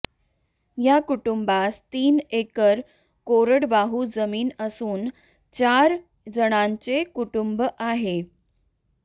या कुटुंबास तीन एक्कर कोरडवाहू जमीन असून चार जणांचे कुटुंब आहे